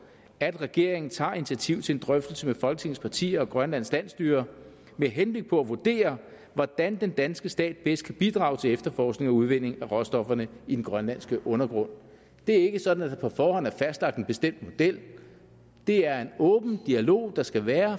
at regeringen tager initiativ til en drøftelse med folketingets partier og grønlands landsstyre med henblik på at vurdere hvordan den danske stat bedst kan bidrage til efterforskning og udvinding af råstofferne i den grønlandske undergrund det er ikke sådan at der på forhånd er fastlagt en bestemt model det er en åben dialog der skal være